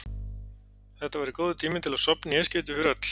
Þetta væri góður tími til að sofna í eitt skipti fyrir öll.